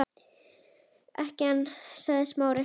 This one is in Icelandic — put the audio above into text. Ekki ennþá- sagði Smári.